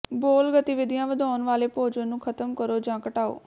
bowel ਗਤੀਵਿਧੀਆਂ ਵਧਾਉਣ ਵਾਲੇ ਭੋਜਨ ਨੂੰ ਖਤਮ ਕਰੋ ਜਾਂ ਘਟਾਓ